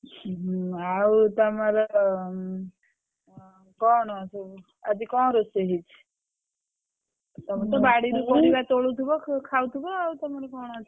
ହୁଁ ଆଉ ତମର ଉଁ କଣ ସବୁ ଆଜି କଣ ରୋଷେଇ ହେଇଛି ତମର ତ ବାଡିରୁ ପରିବା ତୋଳୁଥିବ ଖାଉଥିବ ତମର କଣ ଅଛି।